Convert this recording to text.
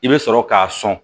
I bɛ sɔrɔ k'a sɔn